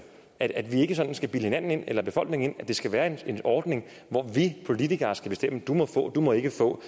at vi ikke sådan skal bilde hinanden eller befolkningen ind at det skal være en ordning hvor vi politikere skal bestemme du må få og du må ikke få